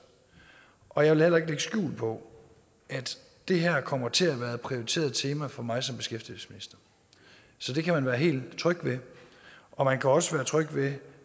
og jeg vil skjul på at det her kommer til at være et prioriteret tema for mig som beskæftigelsesminister så det kan man være helt tryg ved og man kan også være tryg ved